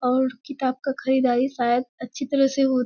और किताब का खरीददारी शायद अच्छी तरह से हो --